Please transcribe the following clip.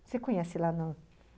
Você conhece lá não?